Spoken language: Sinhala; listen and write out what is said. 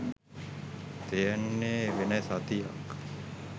තියෙන්නේ වෙන සතියක්.